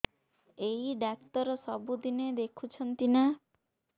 ଏଇ ଡ଼ାକ୍ତର ସବୁଦିନେ ଦେଖୁଛନ୍ତି ନା